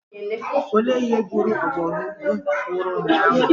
Olee ihe gburu ọbọgwụ nwụrụ ụnyaahụ?